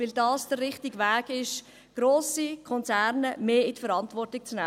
– Weil das der richtige Weg ist, grosse Konzerne mehr in die Verantwortung zu nehmen.